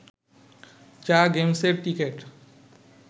যা গেমসের টিকিট